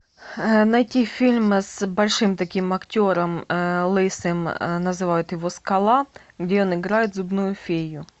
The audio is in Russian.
найти фильм с большим таким актером лысым называют его скала где он играет зубную фею